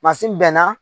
bɛnna